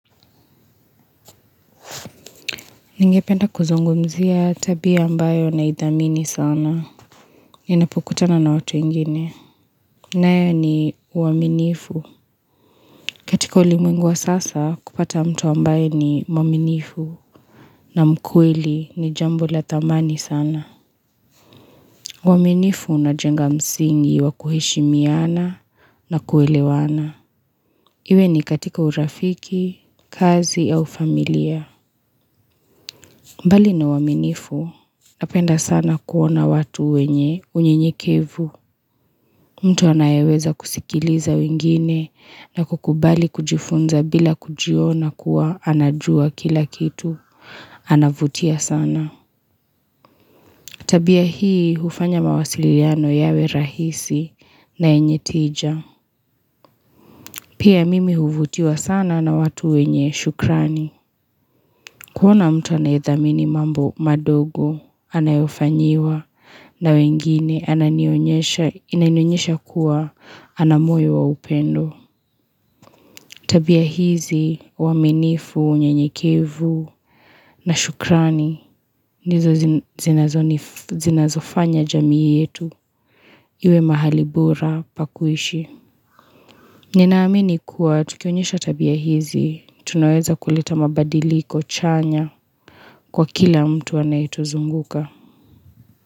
Ningependa kuzungumzia tabia mbayo naidhamini sana. Ninapukutana na watu wengine. Nayo ni uaminifu.katika ulimwengu wa sasa kupata mtu ambaye ni muaminifu na mkweli ni jambo la thamani sana. Uaminifu unajenga msingi wa kuheshimiana na kuelewana. Iwe ni katika urafiki, kazi au familia. Mbali na uaminifu, napenda sana kuona watu wenye unyenyekevu. Mtu anayeweza kusikiliza wengine na kukubali kujifunza bila kujiona kuwa anajua kila kitu. Anavutia sana. Tabia hii hufanya mawasiliano yawe rahisi na yenye tija. Pia mimi huvutiwa sana na watu wenye shukrani. Kuona mtu anayethamini mambo madogo, anayofanyiwa, na wengine inanionyesha kuwa, ana moyo wa upendo. Tabia hizi, uaminifu, unyenyekevu, na shukrani, ndizo zinazofanya jamii yetu, iwe mahali bora, pa kuishi. Ninaamini kuwa, tukionyeshwa tabia hizi, tunaweza kuleta mabadiliko chanya kwa kila mtu anayetuzunguka.